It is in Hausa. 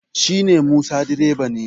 shi ne musa direba ne